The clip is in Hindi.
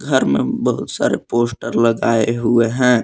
घर में बहुत सारे पोस्टर लगाए हुए हैं।